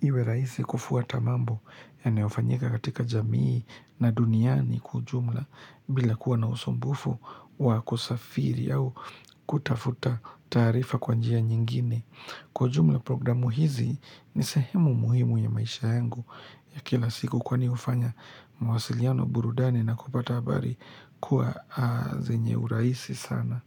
iwe raisi kufuwata mambo yanayofanyika katika jamii na duniani kwa ujumla bila kuwa na usombufu wa kusafiri au kutafuta tarifa kwa njia nyingine. Kwa jumla programu hizi ni sahemu muhimu ya maisha yangu ya kila siku kwani ufanya mwasiliano burudani na kupata habari kuwa zenye uraisi sana.